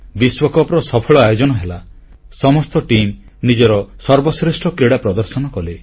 ବିଶ୍ୱକପ୍ ର ସଫଳ ଆୟୋଜନ ହେଲା ସମସ୍ତ ଟିମ୍ ନିଜର ସର୍ବଶ୍ରେଷ୍ଠ କ୍ରୀଡ଼ା ପ୍ରଦର୍ଶନ କଲେ